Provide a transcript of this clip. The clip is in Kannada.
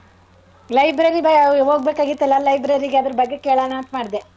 Library ಗೆ ಹೋಗ್ಬೇಕಾಗಿತ್ತಲ್ಲ library ಗೆ ಅದ್ರ ಬಗ್ಗೆ ಕೇಳನ ಅಂತ ಮಾಡ್ದೆ.